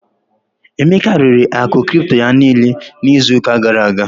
Emeka rere akụ cripto ya niile n'izu ụka gara aga.